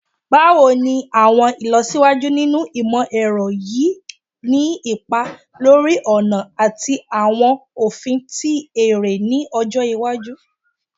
Báwo ni àwọn ìlọsíwájú nínú ìmọ̀-ẹ̀rọ yóò ni ipa lórí ọ̀nà ati awọn ofin ti ere ni ọjọ iwaju?